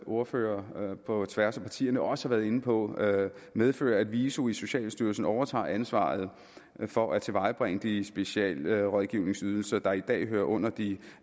ordførere på tværs af partierne også har været inde på medfører at viso i socialstyrelsen overtager ansvaret for at tilvejebringe de specialrådgivningsydelser der i dag hører under de